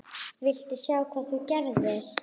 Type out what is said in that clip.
VILTU SJÁ HVAÐ ÞÚ GERÐIR!